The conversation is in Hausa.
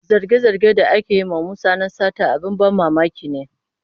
Zarge-zargen da ake yi wa Musa na sata abin ban mamaki ne.